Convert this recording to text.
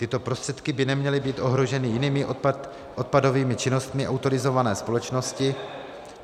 Tyto prostředky by neměly být ohroženy jinými odpadovými činnostmi autorizované společnosti.